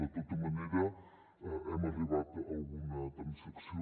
de tota manera hem arribat a alguna transacció